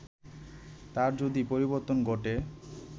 তার যদি পরিবর্তন ঘটে